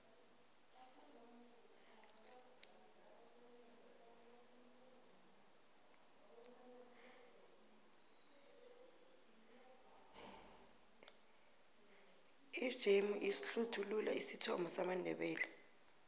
ijemu ihlsthulula isithomo samandebele